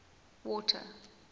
water